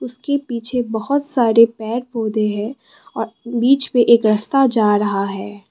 उसके पीछे बहोत सारे पेड़ पौधे हैं और बीच में एक रस्ता जा रहा है।